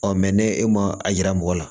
ne e ma a yira mɔgɔ la